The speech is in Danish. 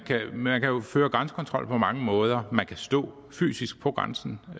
man kan jo føre grænsekontrol på mange måder man kan stå fysisk på grænsen